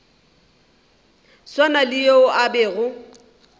swana le yo a bego